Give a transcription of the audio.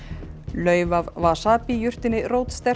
lauf af wasabi jurtinni